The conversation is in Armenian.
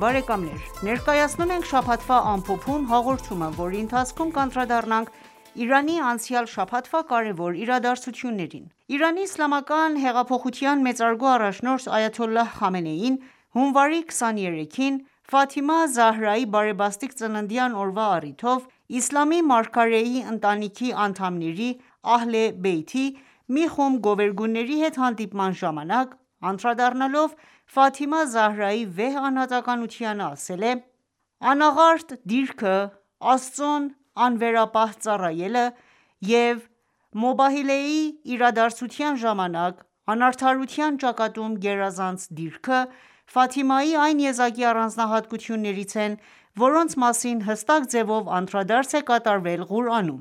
բարեկամներ: Ներկայացնում ենք «Շաբաթվա ամփոփում» հաղորդումը, որի ընթացքում կանդրադառնանք Իրանի անցյալ շաբաթվա կարևոր իրադարձություններին: Իրանի իսլամական հեղափոխության մեծարգո առաջնորդ այաթոլլահ Խամենեին հունվարի 23-ին ,Ֆաթիմա Զահրայի բարեբաստիկ ծննդյան օրվա առիթով, իսլամի մարգարեի ընտանիքի անդամների մի խումբ գովերգուների հետ հանդիպման ժամանակ անդրադառնալով Ֆաթիմա Զահրայի վեհ անհատականությանը ասել է.«Անաղարտ դիրքը, Աստծուն անվերապահ ծառայելը,և «Մուբահելեյի» իրադարձության ժամանակ՝ անարդարության ճակատում գերազանց դիրքը, Ֆաթիմայի այն եզակի առանձնահատկություններից են, որոնց մասին հստակ ձևով անդրադարձ է կատարվել Ղուրանում»: